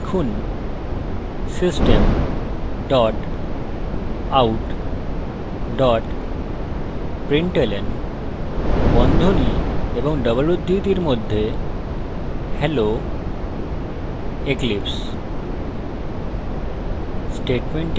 এখন লিখুন system out println hello eclipse